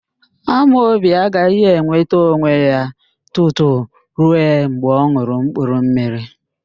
Amobi agaghị enweta onwe ya tutu rue mgbe ọ n̄ụrụ mkpurummiri